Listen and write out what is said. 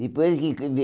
Depois que que